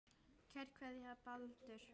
Kær kveðja, Baldur